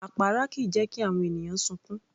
Àpárá kìí jẹ́ kí àwọn ènìyàn sunkún